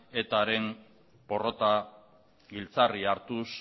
etaren porrota giltzarri hartuz